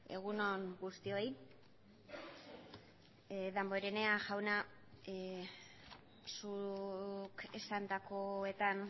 egun on guztioi damborenea jauna zuk esandakoetan